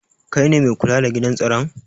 Kai ne mai kula da gidan staron?